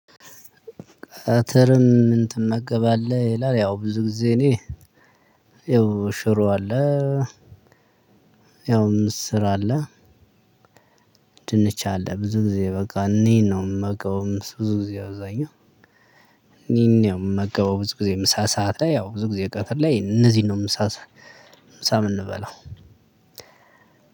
ቀትርም እንትመገባለህ ይላል? ያው ብዙ ጊዜ እኔ ይኸው ሽሮ አለ። ያው ምስር አለ። ድንች አለ ብዙ ጊዜ በቃ እኒን ነው ምመገበው። ብዙ ጊዜ አብዛኛው እኒን ነው ምመገበው። ብዙ ጊዜ ምሳ ሰዓት ላይ ያው ብዙ ጊዜ ቀትር ላይ እነዚህን ነው ምሳ ምሳ ምንበላው?